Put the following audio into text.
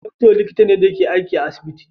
Doctor likita ne da ke aiki a asibiti